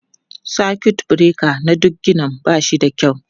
Sakut bureka na duk ginin ba shi da kyau.